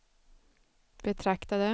betraktade